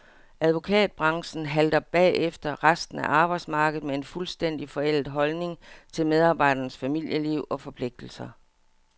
Advokatbranchen halter bagefter resten af arbejdsmarkedet med en fuldstændig forældet holdning til medarbejdernes familieliv og forpligtelser.